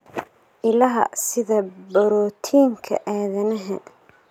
Ilaha sida borotiinka aadanaha.